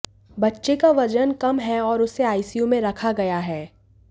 बच्चे का वजन कम है और उसे आईसीयू में रखा गया है